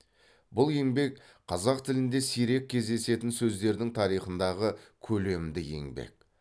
бұл еңбек қазақ тілінде сирек кездесетін сөздердің тарихындағы көлемді еңбек